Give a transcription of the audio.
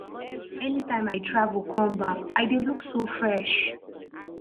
anytime i travel come back i dey look so fresh